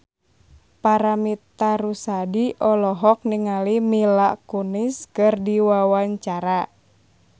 Paramitha Rusady olohok ningali Mila Kunis keur diwawancara